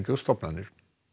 og stofnanir